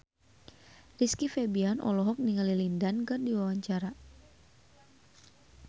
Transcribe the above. Rizky Febian olohok ningali Lin Dan keur diwawancara